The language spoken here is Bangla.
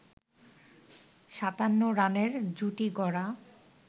৫৭ রানের জুটি গড়া